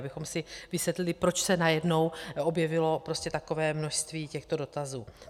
Abychom si vysvětlili, proč se najednou objevilo takové množství těchto dotazů.